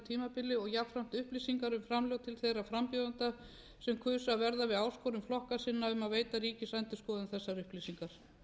tímabili og jafnframt upplýsingar um framlög til þeirra frambjóðenda sem kusu að verða við áskorun flokka sinna um að veita ríkisendurskoðun þessar upplýsingar